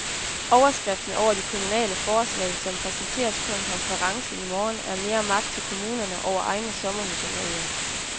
Overskriften over de kommunale forslag, som præsenteres på en konference i morgen, er mere magt til kommunerne over egne sommerhusområder.